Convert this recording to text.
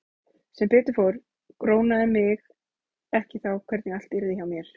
Sem betur fór grunaði mig ekki þá hvernig allt yrði hjá mér.